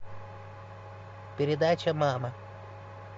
передача мама